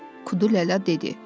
Kudu Lələ dedi.